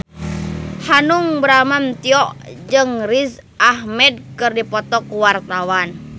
Hanung Bramantyo jeung Riz Ahmed keur dipoto ku wartawan